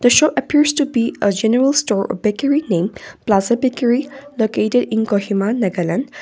appears to be a general store or backery name plaza backery located in kohima nagaland.